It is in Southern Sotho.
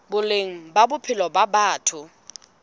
boleng ba bophelo ba batho